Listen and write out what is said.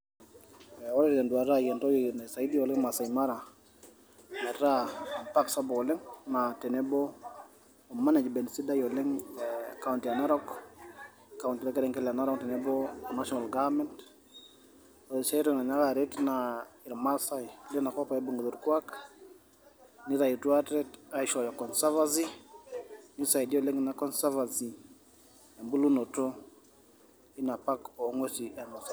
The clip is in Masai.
Aa ore teduata aii entoki naisaidia oleng' Masai Mara, metaa paks SAPUK oleng' naa nabo emanajiment sidai oleng' ekaunti e Narok kaunti orkerenket le Narok o nashonal gafament, ore sii aitoki nainyiaka aret oleng' naa irmasae ibung'ita orkuak, neitawutuo ate aishooyo konsafasi neisaidia oleng' Ina konsafasi ebolunoto Ina pak oo ng'uesin E Masai Mara.